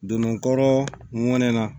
Don n kɔrɔ ŋɔni na